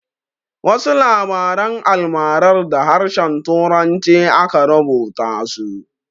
Wasu labaran almarar da harshen turanci aka rubuta su.